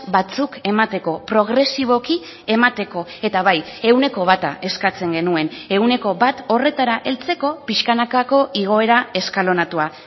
batzuk emateko progresiboki emateko eta bai ehuneko bata eskatzen genuen ehuneko bat horretara heltzeko pixkanakako igoera eskalonatua